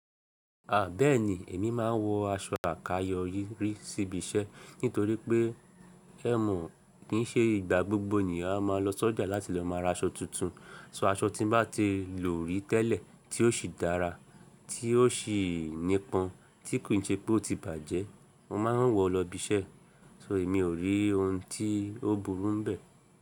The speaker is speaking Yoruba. À, bẹ́ẹ̀ ni, èmi máa ń wọ aṣọ àkayọ́ rí síbi iṣẹ́. Nítorí pé ẹ́ mọ̀, kì í ṣe ìgbà gbogbo ènìyàn a máa lọ sójà láti lọ máa ra aṣọ tuntun. So aṣọ tí bá ti lò rí tẹ́lẹ̀ tí ó sì dára, tí ó sì nípọn, tí kò ṣe pé ó ti bàjẹ́, mo máa ń wọ̀ lọ ibi iṣẹ́. So èmi ò rí ohun tí ó burú ń bẹ.